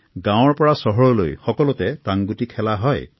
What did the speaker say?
গাঁওৰ পৰা চহৰলৈ সকলোতে টাংগুটি খেলা হয়